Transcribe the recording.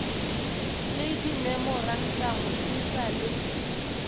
le dimemorantamo e sa le